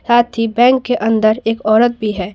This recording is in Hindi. साथ ही बैंक के अंदर एक औरत भी है।